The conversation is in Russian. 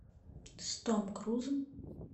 с том крузом